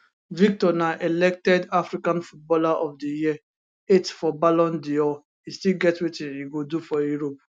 victor na elected african footballer of di year eighth for ballon dor e still get wetin e go do for europe